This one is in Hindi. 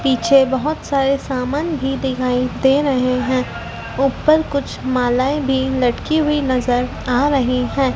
पीछे बहोत सारे समान भी दिखाई दे रहे है ऊपर कुछ मालाएं भी लटकी हुई नजर आ रही है।